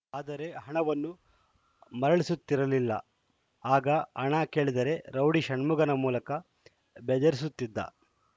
ಆದರೆ ಹಣವನ್ನು ಮರಳಸುತ್ತಿರಲ್ಲ ಆಗ ಹಣ ಕೇಳಿದರೆ ರೌಡಿ ಷಣ್ಮುಗನ ಮೂಲಕ ಬೆದರಿಸುತ್ತಿದ್ದ